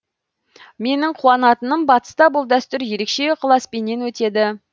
менің қуанатыным батыста бұл дәстүр ерекше ықыласпенен өтеді